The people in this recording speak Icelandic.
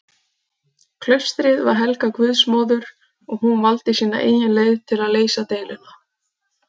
Klaustrið var helgað guðsmóður og hún valdi sína eigin leið til að leysa deiluna.